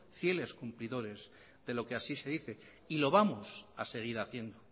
fieles cumplidores de lo que así se dice y lo vamos a seguir haciendo